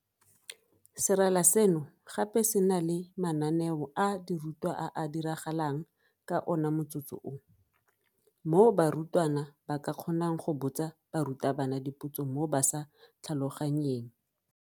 Serala seno gape se na le mananeo a dirutwa a a diragalang ka ona motsotso oo, moo barutwana ba ka kgonang go botsa barutabana dipotso mo ba sa tlhaloganyeng.